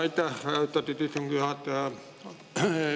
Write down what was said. Aitäh, austatud istungi juhataja!